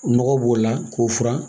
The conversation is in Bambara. Nɔgɔ b'o la k'o furan